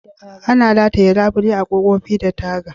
Ana rataye labule a'kofofi da taga.